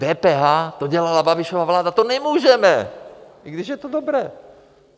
DPH, to dělala Babišova vláda, to nemůžeme, i když je to dobré!